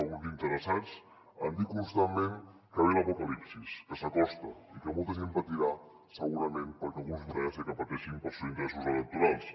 alguns interessats en dir constantment que ve l’apocalipsi que s’acosta i que molta gent patirà segurament perquè a alguns els interessa que pateixin pels seus interessos electorals